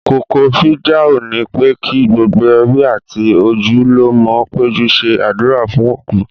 Kókó fìdáù ni pé kí gbogbo ẹbí àti ojúlùmọ̀ péjọ ṣe àdúrà fún òkú